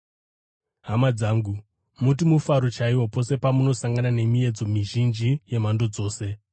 Hama dzangu, muti mufaro chaiwo, pose pamunosangana nemiedzo mizhinji yemhando dzose,